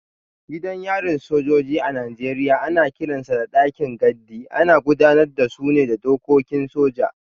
Gidan yarin sojoji a Najeriya ana kiransa dakin gadi, ana gudanar da su ne da dokokin soja.